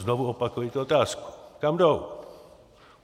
Znovu opakuji otázku: Kam jdou?